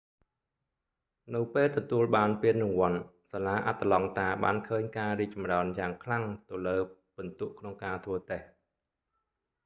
នៅពេលទទួលបានពានរង្វាន់ សាលាអាត្លង់តាបានឃើញការរីកចម្រើនយ៉ាងខ្លាំងទៅលើពិន្ទុក្នុងការធ្វើតេស្ដ